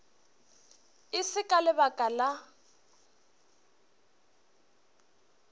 e se ka lebaka la